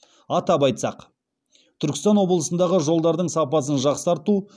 атап айтсақ түркістан облысындағы жолдардың сапасын жақсарту